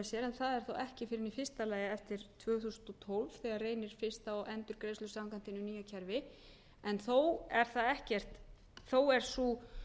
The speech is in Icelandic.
sér en það er þá ekki fyrr en í fyrsta lagi eftir tvö þúsund og tólf þegar reynir fyrst á endurgreiðslu samkvæmt hinu nýja kerfi en þó er sú